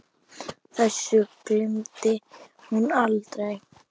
Þessu gleymdi hún aldrei.